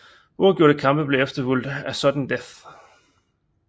Uafgjorte kampe blev efterfulgt af sudden death